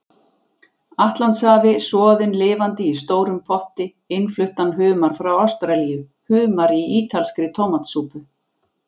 Atlantshafi, soðinn lifandi í stórum potti, innfluttan humar frá Ástralíu, humar í ítalskri tómatsúpu.